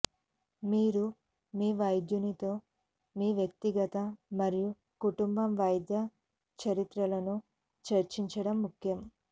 మీరు మీ వైద్యునితో మీ వ్యక్తిగత మరియు కుటుంబ వైద్య చరిత్రలను చర్చించటం ముఖ్యం